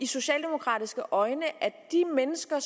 socialdemokratiske øjne at de mennesker